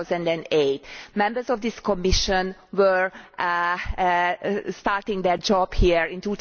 2008. Members of this Commission were starting their jobs here in